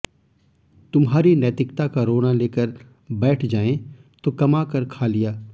तुम्हारी नैतिकता का रोना लेकर बैठ जाएं तो कमाकर खा लिया